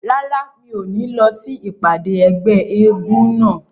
Rárá, mi ò ní lọ sí ìpàdé ẹgbẹ́ eégún náà